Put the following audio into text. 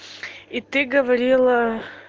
и ты говорила